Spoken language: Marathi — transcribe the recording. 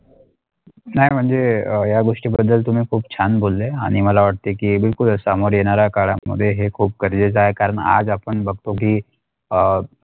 नाही म्हणजे अ या गोष्टीबद्दल तुम्ही खूप छान बोलले आणि मला वाटते की बिलकुल समोर येणारा काळामध्ये हे खूप गरजेचे आहे कारण आज आपण बघतो की अ.